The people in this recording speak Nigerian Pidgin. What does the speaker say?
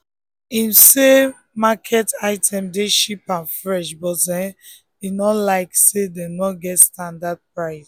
him find say market item dey cheap and fresh but um him no like say dem no get standard price um